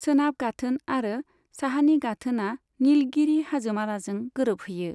सोनाब गाथोन आरो साहानि गाथोनआ निलगिरि हाजोमालाजों गोरोबहैयो।